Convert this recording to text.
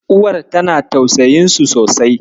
Uwar tana tausayinsu sosai.